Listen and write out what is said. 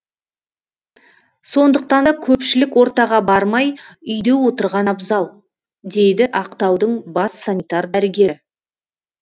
сондықтан да көпшілік ортаға бармай үйде отырған абзал дейді ақтаудың бас санитар дәрігері